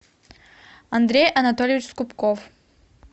андрей анатольевич скупков